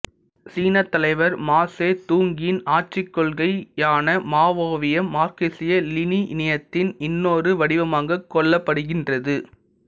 சீனத்தலைவர் மா சே துங்கின் ஆட்சிக்கொள்கையான மாவோவியம் மார்க்கசிய லினினியத்தின் இன்னொரு வடிவமாகக் கொள்ளப்படுகின்றது